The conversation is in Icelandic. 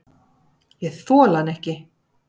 Ég þoli hann ekki.